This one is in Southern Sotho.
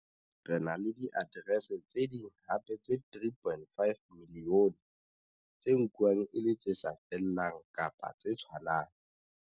Re na le diaterese tse ding hape tse 3.5 milione tse nkuwang e le tse sa fellang kapa tse tshwanang.